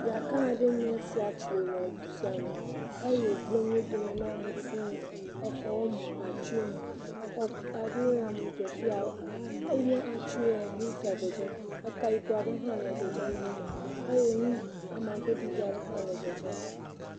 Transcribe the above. Ya ga aɖe enye sia ƒo le du sia me eye wogble nuwo dome na amewo fuu exɔwo mu atiwo mu exɔ aɖewo ya mu dze fi ya eŋe atiwo eka yibɔ aɖe ya dzedzem amagbe ɖiɖi aɖe ha ya dzedzem